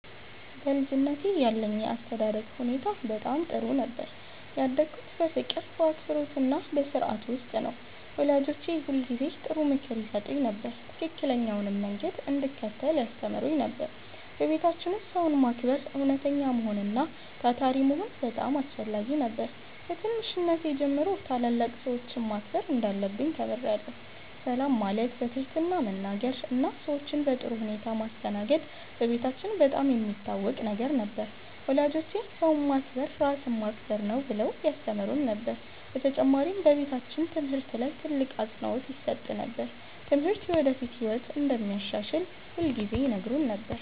በልጅነቴ ያለኝ የአስተዳደግ ሁኔታ በጣም ጥሩ ነበር። ያደግሁት በፍቅር፣ በአክብሮትና በሥርዓት ውስጥ ነው። ወላጆቼ ሁልጊዜ ጥሩ ምክር ይሰጡኝ ነበር፣ ትክክለኛውንም መንገድ እንድከተል ያስተምሩኝ ነበር። በቤታችን ውስጥ ሰውን ማክበር፣ እውነተኛ መሆን እና ታታሪ መሆን በጣም አስፈላጊ ነበር። ከትንሽነቴ ጀምሮ ታላላቅ ሰዎችን ማክበር እንዳለብኝ ተምሬአለሁ። ሰላም ማለት፣ በትህትና መናገር እና ሰዎችን በጥሩ ሁኔታ ማስተናገድ በቤታችን በጣም የሚታወቅ ነገር ነበር። ወላጆቼ “ሰውን ማክበር ራስን ማክበር ነው” ብለው ያስተምሩን ነበር። በተጨማሪም በቤታችን ትምህርት ላይ ትልቅ አፅንዖት ይሰጥ ነበር። ትምህርት የወደፊት ህይወትን እንደሚያሻሽል ሁልጊዜ ይነግሩን ነበር።